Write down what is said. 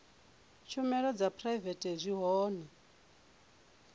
tshumelo dza phuraivete zwi hone